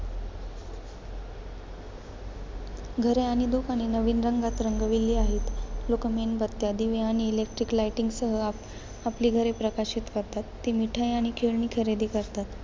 घरे आणि दुकाने नवीन रंगात रंगविली आहेत. लोक मेणबत्त्या, दिवे आणि electric lighting सह आप~ आपली घरे प्रकाशित करतात. ते मिठाई आणि खेळणी खरेदी करतात.